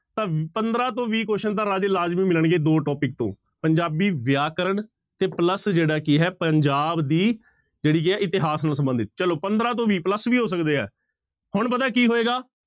ਤਾਂ ਪੰਦਰਾਂ ਤੋਂ ਵੀਹ question ਤਾਂ ਰਾਜੇ ਲਾਜ਼ਮੀ ਮਿਲਣਗੇ ਦੋ topic ਤੋਂ ਪੰਜਾਬੀ ਵਿਆਕਰਨ ਤੇ plus ਜਿਹੜਾ ਕੀ ਹੈ ਪੰਜਾਬ ਦੀ ਜਿਹੜੀ ਹੈ ਇਤਿਹਾਸ ਨੂੰ ਸੰਬੰਧਿਤ ਚਲੋ ਪੰਦਰਾਂ ਤੋਂ ਵੀਹ plus ਵੀ ਹੋ ਸਕਦੇ ਹੈ ਹੁਣ ਪਤਾ ਕੀ ਹੋਏਗਾ,